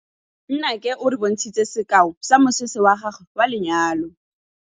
Nnake o re bontshitse sekaô sa mosese wa gagwe wa lenyalo.